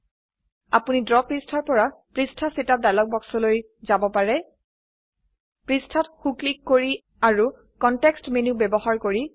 আপনি ড্ৰ পৃষ্ঠাৰ পৰা পৃষ্ঠা সেটআপ ডায়ালগ বাক্স লৈ যাব পাৰো পৃষ্ঠাত সো ক্লিক কৰি আৰু কনটেক্সট মেনু ব্যবহাৰ কৰি